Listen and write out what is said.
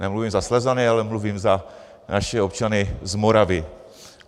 Nemluvím za Slezany, ale mluvím za naše občany z Moravy.